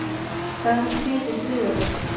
Hvað eru þrír í þriðja veldi?